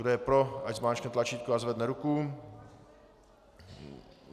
Kdo je pro, ať zmáčkne tlačítko a zvedne ruku.